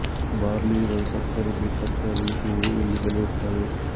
barley rye ಸಕ್ಕರೆ beet ತರಕಾರಿ ಹೂವು ಇಲ್ಲಿ ಬೆಳೆಯುತ್ತವೆ